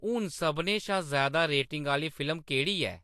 हून सभनें शा ज़्यादा रेटिंग आह्‌‌‌ली फिल्म केह्‌‌ड़ी ऐ